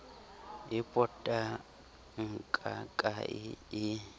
e potang ka kae ee